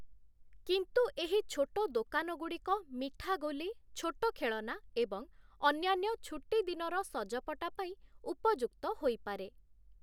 କିନ୍ତୁ ଏହି ଛୋଟ ଦୋକାନଗୁଡ଼ିକ ମିଠାଗୋଲି, ଛୋଟ ଖେଳନା ଏବଂ ଅନ୍ୟାନ୍ୟ ଛୁଟିଦିନର ସଜପଟା ପାଇଁ ଉପଯୁକ୍ତ ହୋଇପାରେ ।